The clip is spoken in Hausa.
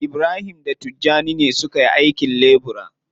Ibrahim da Tijjani ne suka yi aikin lebura.